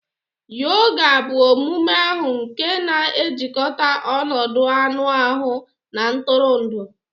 Yoga bụ omume ahụ nke na-ejikọta ọnọdụ anụ ahụ na ntụrụndụ